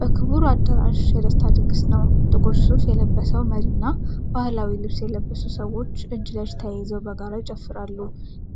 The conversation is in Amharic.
በክቡር አዳራሽ የደስታ ድግስ ነው። ጥቁር ሱፍ የለበሰው መሪና ባህላዊ ልብስ የለበሱ ሰዎች እጅ ለእጅ ተያይዘው በጋራ ይጨፍራሉ።